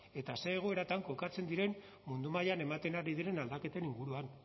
eta zer egoeratan kokatzen diren mundu mailan ematen ari diren aldaketen inguruan